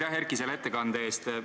Aitäh, Erki, selle ettekande eest!